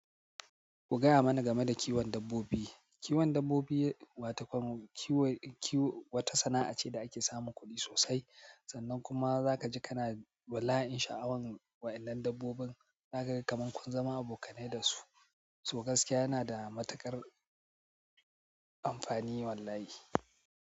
Ku gaya mana game da kiwon dabbobi. Kiwon dabbobi wata sana'a ce da ake samun kuɗi sosai, sannan kuma za ka ji kana bala'in sha'awan waɗannan dabbobin. Zaka ga kamar kun zama abokanai da su, so gaskiya yana da matuƙar amfani wallahi.